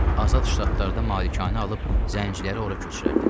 Azad ştatlarda malikanə alıb zənciləri ora köçürərdim.